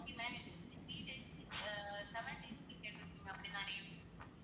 okay ma'am three days ah seven days க்கு கேட்டு இருக்கீங்க அப்படி தானே?